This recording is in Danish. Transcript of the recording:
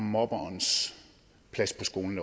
mobberens plads på skolen